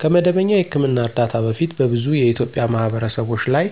ከመደበኛ የሕክምና እርዳታ በፊት በብዙ የኢትዮጵያ ማህበረሰቦች ላይ